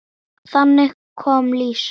Haukur: Voruð þið ekkert hræddir?